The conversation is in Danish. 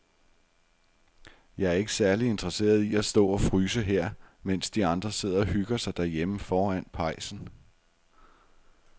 Jeg er ikke særlig interesseret i at stå og fryse her, mens de andre sidder og hygger sig derhjemme foran pejsen.